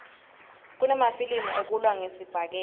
kunemafilimi ekulwa ngesibhakela